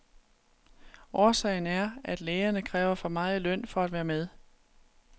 Årsagen er, at lægerne kræver for meget i løn for at være med.